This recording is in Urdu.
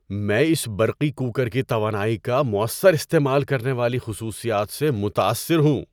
میں اس برقی کوکر کی توانائی کا مؤثر استعمال کرنے والی خصوصیات سے متاثر ہوں!